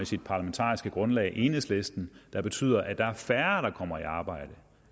sit parlamentariske grundlag enhedslisten der betyder at der er færre der kommer i arbejde